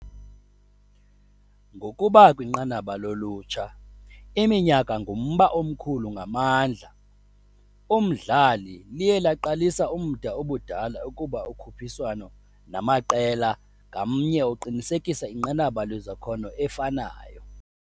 Ngokuba kwinqanaba ulutsha, iminyaka ngumba omkhulu ngamandla umdlali, liye laqalisa umda ubudala ukuba ukhuphiswano namaqela ngamnye uqinisekisa inqanaba lwezakhono efanayo.